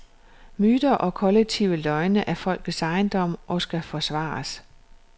Myter og kollektive løgne er folkets ejendom og skal forsvares.